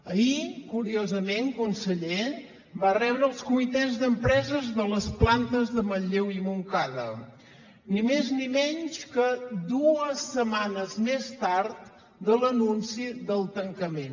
ahir curiosament conseller va rebre els comitès d’empreses de les plantes de manlleu i montcada ni més ni menys que dues setmanes més tard de l’anunci del tancament